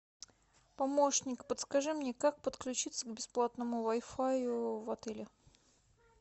помощник подскажи мне как подключиться к бесплатному вай фаю в отеле